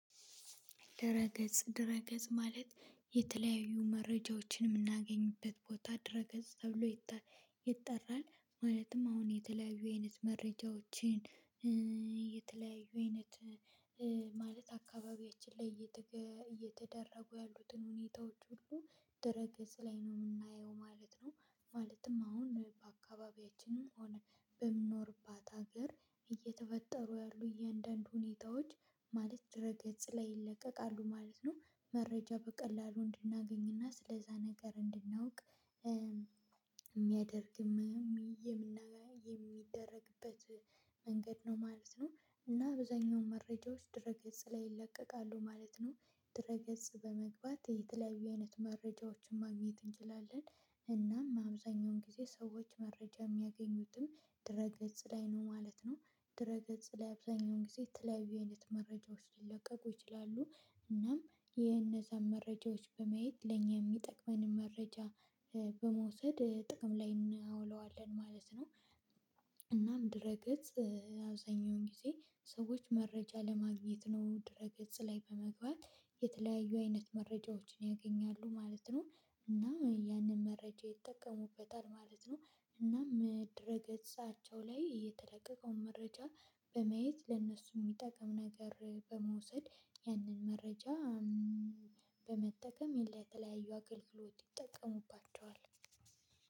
ድረ ገጽ ድረ ገጽ ማለት የተለያዩ መረጃዎችን የምናገኝበት ቦታ ድረ ገጽ ተብሎ ይጠራል። ማለትም አሁን የተለያዩ አይነት መረጃዎችን የተለያዩ አይነት ማለት አካባቢያችን ላይ እየተደረጉ ያሉትን ሁኔታዎች ሁሉ ደረገዝ ላይ ነው የምናየው ማለት ነው። ማለትም አሁን በአካባቢያችንም ሆነ በምኖርባት ሀገር እየተፈጠሩ ያሉ እያንዳንዱ ሁኔታዎች ማለት ድረ ገጽ ላይ ይለቀቃሉ ማለት ነው። መረጃ በቀላሉ እንድናገኝና ስለዛ ነገር እንድናውቅ የሚያደርግም የሚያምና የሚደረግበት መንገድ ነው ማለት ነው። እና አብዛኛው መረጃዎች ድረ ገጽ ላይ ይለቀቃሉ ማለት ነው። ድረ ገጽ በመግባት የተለያዩ አይነት መረጃዎችን ማግኘት እንችላለን። እናም አብዛኛውን ጊዜ ሰዎች መረጃ የሚያገኙትም ድረ ላይ ነው ማለት ነው። ድረ ገጽ ላይ አብዛኛውን ጊዜ የተለያዩ አይነት መረጃዎች ሊለቀቁ ይችላሉ። እናም የነዛን መረጃዎች በመየት ለኛ የሚጠቅመንን መረጃ በመውሰድ ጥቅም ላይ እናውለዋለን ማለት ነው። እናም ድህረ ገጽ አብዛኛውን ጊዜ ሰዎች መረጃ ለማግኘት ነው ድህረ ገጽ ላይ በመግባት የተለያዩ አይነት መረጃዎችን ያገኛሉ ማለት ነው። እና ያንን መረጃ ይጠቀሙበታል ማለት ነው። እና ድህረ ገጻቸው ላይ የተለቀቀውን መረጃ በማየት ለእነሱ የሚጠቅም ነገር በመውሰድ ያንን መረጃ በመጠቀም የለ የተለያዩ አገልግሎት ይጠቀሙባቸዋል።